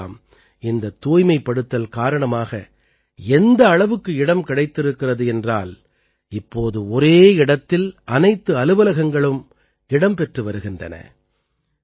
இப்போதெல்லாம் இந்த தூய்மைப்படுத்தல் காரணமாக எந்த அளவுக்கு இடம் கிடைத்திருக்கிறது என்றால் இப்போது ஒரே இடத்தில் அனைத்து அலுவலகங்களும் இடம் பெற்று வருகின்றன